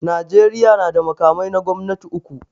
Najeriya na da makamai na gwamnati uku.